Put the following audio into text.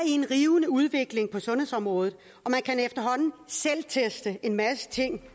en rivende udvikling på sundhedsområdet og man kan efterhånden selvteste en masse ting